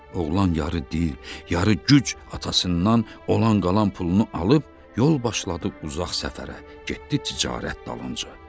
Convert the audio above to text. Oğlan yarı dil, yarı güc atasından olan qalan pulunu alıb yol başladı uzaq səfərə, getdi ticarət dalınca.